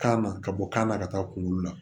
Kan na ka bɔ kan na ka taa kungolo la